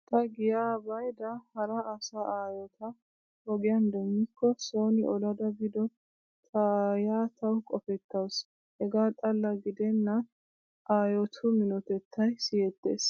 Ta giyaa baydda hara asaa aayota ogiyaan demmikko sooni olada biido taayyiyaa tawu qopettawusu . Hegaa xalla gidennan aayotu minotettay siyettees.